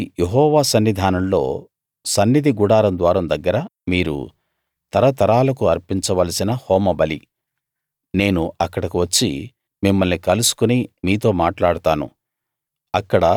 ఇది యెహోవా సన్నిధానంలో సన్నిధి గుడారం ద్వారం దగ్గర మీరు తరతరాలకు అర్పించవలసిన హోమబలి నేను అక్కడకు వచ్చి మిమ్మల్ని కలుసుకుని మీతో మాట్లాడతాను